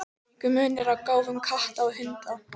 Er einhver munur á gáfum katta og hunda?